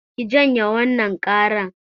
Ki janye wannan ƙaran!